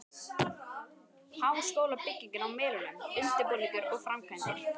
Háskólabyggingin á Melunum- undirbúningur og framkvæmdir